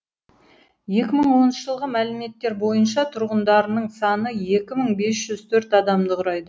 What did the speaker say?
екі мың оныншы жылғы мәліметтер бойынша тұрғындарының саны екі мың бес жүз төрт адамды құрайды